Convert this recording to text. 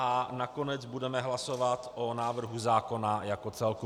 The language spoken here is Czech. A nakonec budeme hlasovat o návrhu zákona jako celku.